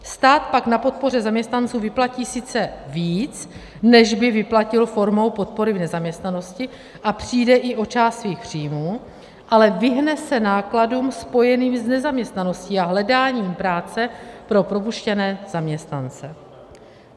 Stát pak na podpoře zaměstnanců vyplatí sice víc, než by vyplatil formou podpory v nezaměstnanosti, a přijde i o část svých příjmů, ale vyhne se nákladům spojeným s nezaměstnaností a hledáním práce pro propuštěné zaměstnance.